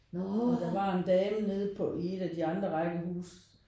Og der var en dame nede på i et af de andre rækkehuse